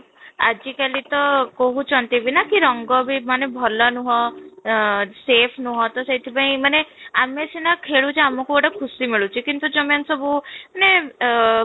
ଆଜି କାଲି ତ କହୁଛନ୍ତି ବି ନା ରଙ୍ଗ ବି ଭଲ ନୁହଁ ଆଁ safe ନୁହଁ, ତ ସେଥି ପାଇଁ ମାନେ ଆମେ ସିନା ଖେଳଛେ ଆମକୁ ଗୋଟେ ଖୁସି ମିଳୁଛି କିନ୍ତୁ ଯୋଉ ମାନେ ସବୁ ମାନେ ଆଃ